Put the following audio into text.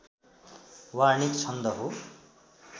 वार्णिक छन्द हो